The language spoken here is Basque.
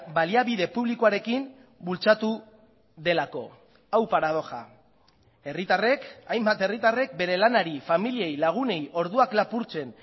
baliabide publikoarekin bultzatu delako hau paradoja herritarrek hainbat herritarrek bere lanari familiei lagunei orduak lapurtzen